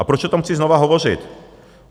A proč o tom chci znovu hovořit?